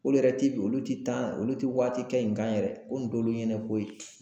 K'olu yɛrɛ ti do olu ti taa olu ti waati kɛ in kan yɛrɛ. Ko in t'olu ɲɛnɛ ko ye